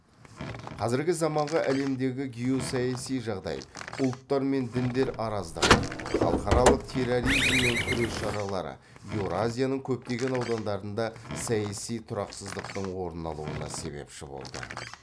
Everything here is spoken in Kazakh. қазіргі заманғы әлемдегі геосаяси жағдай ұлттар мен діндер араздығы халықаралық терроризммен күрес шаралары еуразияның көптеген аудандарында саяси тұрақсыздықтың орын алуына себепші болды